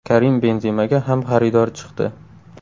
Karim Benzemaga ham xaridor chiqdi.